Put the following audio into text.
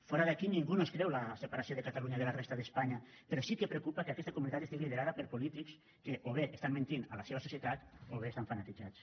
fora d’aquí ningú no es creu la separació de catalunya de la resta d’espanya però sí que preocupa que aquesta comunitat estigui liderada per polítics que o bé menteixen la seva societat o bé estan fanatitzats